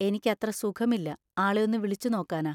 എനിക്കത്ര സുഖമില്ല, ആളെ ഒന്ന് വിളിച്ച് നോക്കാനാ.